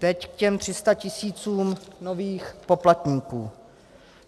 Teď k těm 300 tisícům nových poplatníků.